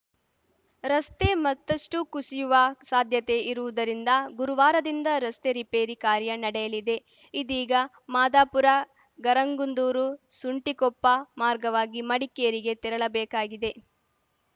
ರಸ್ತೆ ಮತ್ತಷ್ಟುಕುಸಿಯುವ ಸಾಧ್ಯತೆ ಇರುವುದರಿಂದ ಗುರುವಾರದಿಂದ ರಸ್ತೆ ರಿಪೇರಿ ಕಾರ್ಯ ನಡೆಯಲಿದೆ ಇದೀಗ ಮಾದಾಪುರಗರಗಂದೂರುಸುಂಟಿಕೊಪ್ಪ ಮಾರ್ಗವಾಗಿ ಮಡಿಕೇರಿಗೆ ತೆರಳಬೇಕಾಗಿದೆ